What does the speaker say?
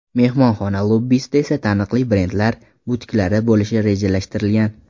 Mehmonxona lobbisida esa taniqli brendlar butiklari bo‘lishi rejalashtirilgan.